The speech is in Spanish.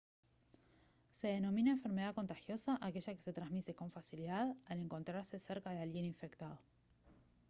se denomina enfermedad contagiosa a aquella que se transmite con facilidad al encontrarse cerca de alguien infectado